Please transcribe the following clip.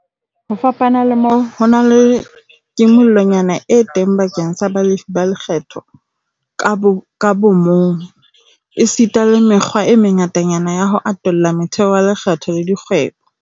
Ho fapana le moo, ho na le kimollonyana e teng bakeng sa balefi ba lekgetho ka bomong, esita le mekgwa e mengatanyana ya ho atolla motheo wa lekgetho la dikgwebo.